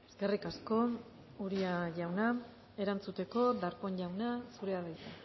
eskerrik asko uria jauna erantzuteko darpón jauna zurea da hitza